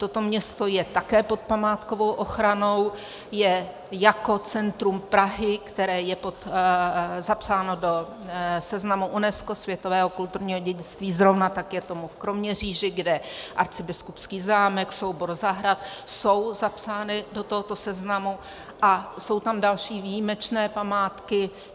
Toto město je také pod památkovou ochranou, je jako centrum Prahy, které je zapsáno do seznamu UNESCO, světového kulturního dědictví, zrovna tak je tomu v Kroměříži, kde arcibiskupský zámek, soubor zahrad jsou zapsány do tohoto seznamu a jsou tam další výjimečné památky.